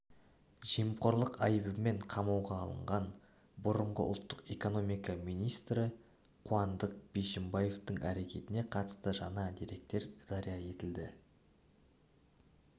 жемқорлық айыбымен қамауға алынған бұрынғы ұлттық экономика министрі қуандық бишімбаевтың әрекетіне қатысты жаңа деректер жария етілді